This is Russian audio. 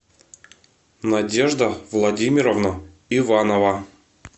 надежда владимировна иванова